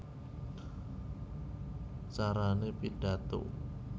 Carané Pidhato